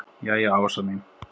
Jæja Ása mín.